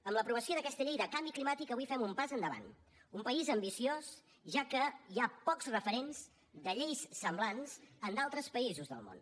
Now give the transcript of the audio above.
amb l’aprovació d’aquesta llei del canvi climàtic avui fem un pas endavant un país ambiciós ja que hi ha pocs referents de lleis semblants en d’altres països del món